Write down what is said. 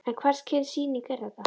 En hvers kyns sýning er þetta?